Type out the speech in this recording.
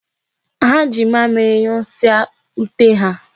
Ha ji mamịrị nyụsaa ute ha.